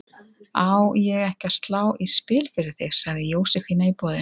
Á ég ekki að slá í spil fyrir þig? sagði Jósefína í boðinu.